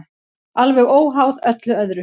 Alveg óháð öllu öðru.